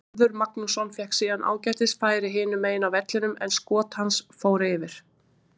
Hörður Magnússon fékk síðan ágætis færi hinu megin á vellinum en skot hans fór yfir.